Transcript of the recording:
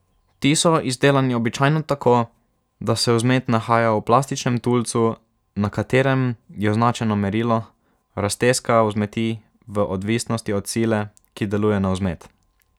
Ti so izdelani običajno tako, da se vzmet nahaja v plastičnem tulcu na katerem je označeno merilo raztezka vzmeti v odvisnosti od sile, ki deluje na vzmet.